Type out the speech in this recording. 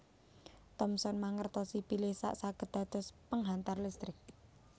Thomson mangertosi bilih gas saged dados penghantar listrik